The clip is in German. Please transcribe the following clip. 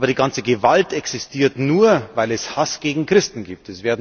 Aber die ganze Gewalt existiert nur, weil es Hass gegen Christen gibt.